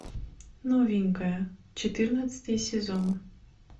новенькая четырнадцатый сезон